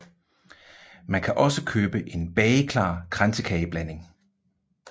Man kan også købe en bageklar kransekageblanding